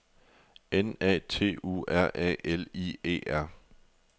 N A T U R A L I E R